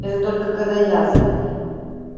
это только когда я звонила